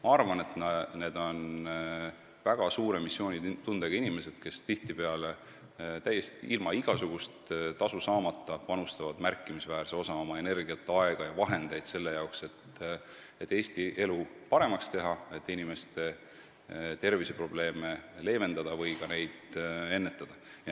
Ma arvan, et need on väga suure missioonitundega inimesed, kes tihtipeale täiesti ilma igasugust tasu saamata panustavad märkimisväärse osa oma energiat, aega ja vahendeid selle jaoks, et Eesti elu paremaks teha, et inimeste terviseprobleeme leevendada või ka ennetada.